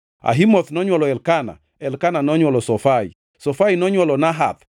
Ahimoth nonywolo Elkana, Elkana nonywolo Zofai, Zofai nonywolo Nahath,